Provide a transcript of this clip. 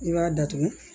I b'a datugu